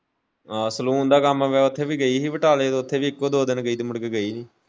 ਅਹ saloon ਦਾ ਕੰਮ ਵੀ ਉੱਥੇ ਵੀ ਗਈ ਹੀ ਬਟਾਲੇ ਉੱਥੇ ਵੀ ਇੱਕੋ ਦੋ ਦਿਨ ਗਈ ਮੁੜ ਕੇ ਗਈ ਨੀ।